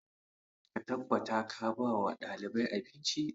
Ka tabbata ka ba wa ɗaliban abinci!